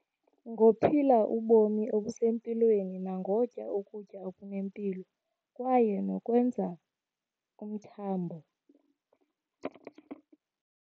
Ngophila ubomi obusempilweni nangotya ukutya okunempilo, kwaye nokwenza umthambo.